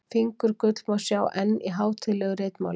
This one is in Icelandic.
Fingurgull má sjá enn í hátíðlegu ritmáli.